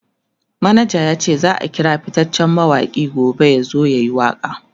manaja yace zaa kira fittacen mawaki gobe yazo yayi waka